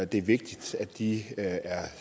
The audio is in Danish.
det er vigtigt at de er